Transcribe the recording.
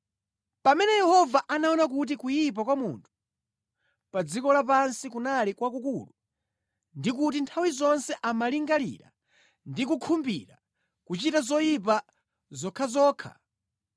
Pamene Yehova anaona kuti kuyipa kwa munthu pa dziko lapansi kunali kwakukulu ndi kuti nthawi zonse amalingalira ndi kukhumbira kuchita zoyipa zokhazokha,